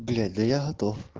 блять да я готов